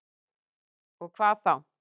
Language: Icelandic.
Og hvað þá?